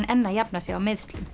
enn að jafna sig á meiðslum